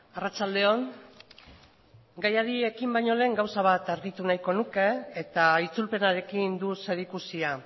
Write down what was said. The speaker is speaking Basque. arratsalde on gaiari ekin baino lehen gauza bat argitu nahiko nuke eta itzulpenarekin du zerikusia